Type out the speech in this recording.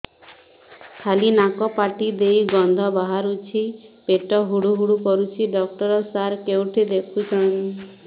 ଖାଲି ନାକ ପାଟି ଦେଇ ଗଂଧ ବାହାରୁଛି ପେଟ ହୁଡ଼ୁ ହୁଡ଼ୁ କରୁଛି ଡକ୍ଟର ସାର କେଉଁଠି ଦେଖୁଛନ୍ତ